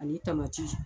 Ani tamati